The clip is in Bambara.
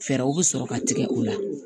Fɛɛrɛw bɛ sɔrɔ ka tigɛ o la